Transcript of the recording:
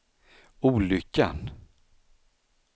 olyckan